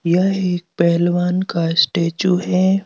यह एक पहलवान का स्टैचू है।